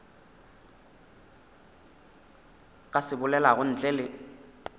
ka se bolelago ntle le